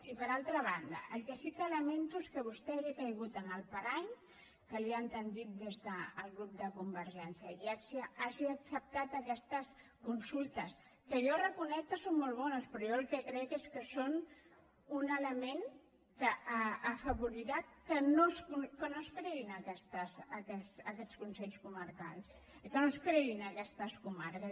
i per altra banda el que sí que lamento és que vostè hagi caigut en el parany que li han parat des del grup de convergència i hagi acceptat aquestes consultes que jo reconec que són molt bones però jo el que crec és que són un element que afavorirà que no es creïn aquests consells comarcals i que no es creïn aquestes comarques